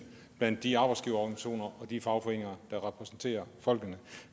blandt de arbejdsgiverorganisationer og de fagforeninger der repræsenterer folkene